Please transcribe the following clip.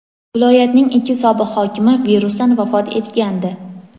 Viloyatning ikki sobiq hokimi virusdan vafot etgandi.